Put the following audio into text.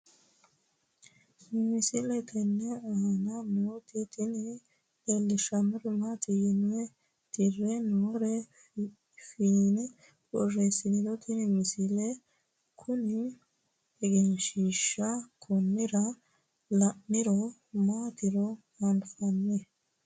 misile tenne aana nooti tini leellishshannori maati yine tirre noore fiine borreessiniro tini misile kuni egenshshiishshaho konnira la'niro maatiro anfanni